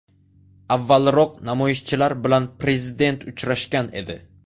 Avvalroq namoyishchilar bilan prezident uchrashgan edi.